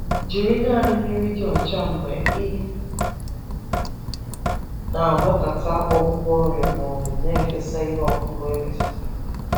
Jiri naanị mmiri dị ọcha mgbe ị na-agwakọta ọgwụgwọ ọrịa ma ọ bụ na-efesa ihe ọkụkụ emetụtara.